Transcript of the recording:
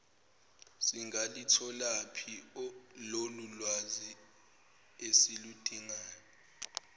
singalutholaphi lolulwazi esiludingayo